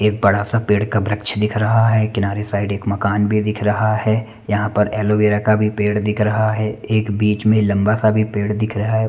एक बड़ा सा पेड़ का वृक्ष दिख रहा है किनारे साइड एक मकान भी दिख रहा है यह पर एलोवीरा का भी पेड़ दिख रहा है एक बीच में लम्बा सा भी पेड़ दिख रहा है।